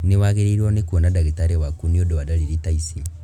Nĩwagĩrĩirwo nĩ kuona ndagĩtari waku nĩũndũ wa ndariri ta ici